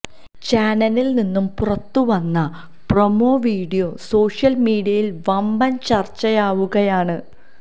ചാനലിൽ നിന്നും പുറത്ത് വന്ന പ്രൊമോ വീഡിയോ സോഷ്യൽ മീഡിയയിൽ വമ്പൻ ചർച്ചയാവുകയാണ്